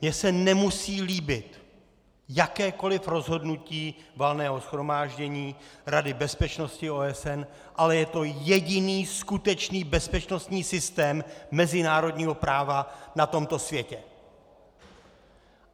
Mně se nemusí líbit jakékoliv rozhodnutí Valného shromáždění Rady bezpečnosti OSN, ale je to jediný skutečný bezpečnostní systém mezinárodního práva na tomto světě.